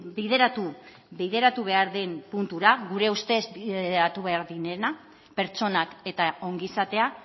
bideratu bideratu behar den puntura gure ustez bideratu behar direnak pertsonak eta ongizatea